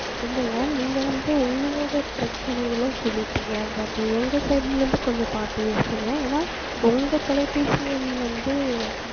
இல்லையா நீங்க வந்து உங்களுடைய பிரச்சினைகல சொல்லிட்டாங்க but எங்க side ல இருந்த கொஞ்சம் பாத்து பேசுங்க ஏன்னா உங்க தொலைபேசி எண் வந்து